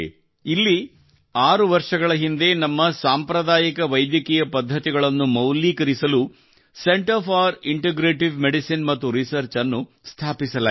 ಇಲ್ಲಿ ಆರು ವರ್ಷಗಳ ಹಿಂದೆ ನಮ್ಮ ಸಾಂಪ್ರದಾಯಿಕ ವೈದ್ಯಕೀಯ ಪದ್ಧತಿಗಳನ್ನು ಮೌಲ್ಯೀಕರಿಸಲು ಸೆಂಟರ್ ಫಾರ್ ಇಂಟಿಗ್ರೇಟಿವ್ ಮೆಡಿಸಿನ್ ಮತ್ತು ರಿಸರ್ಚ್ ಅನ್ನು ಸ್ಥಾಪಿಸಲಾಯಿತು